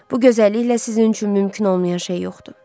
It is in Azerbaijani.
Bu gözəlliklə sizin üçün mümkün olmayan şey yoxdur.